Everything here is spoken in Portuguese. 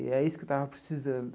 E é isso que eu estava precisando.